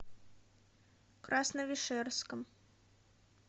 красновишерском